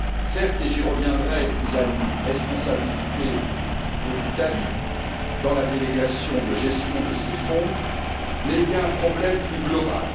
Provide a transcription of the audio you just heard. Certes et j'y reviendrai il y a une responsabilité de l'Italie dans la délégation de gestion de ces fonds, mais il y a un problème plus global.